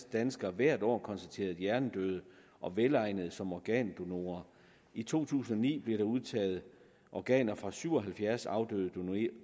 danskere hvert år konstateret hjernedøde og velegnede som organdonorer i to tusind og ni blev der udtaget organer fra syv og halvfjerds afdøde